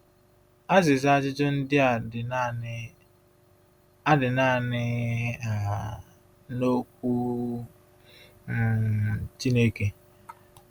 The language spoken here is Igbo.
Azịza ajụjụ ndị a dị naanị a dị naanị um n’okwu um Chineke.